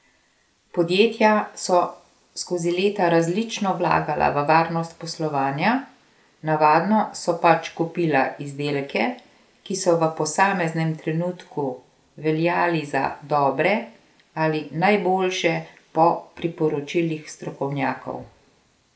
Podjetja so skozi leta različno vlagala v varnost poslovanja, navadno so pač kupila izdelke, ki so v posameznem trenutku veljali za dobre ali najboljše po priporočilih strokovnjakov.